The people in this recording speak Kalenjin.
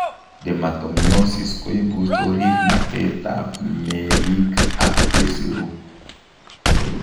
Dermatomytosis koibu chorirnatet ab meelik ak chesiruu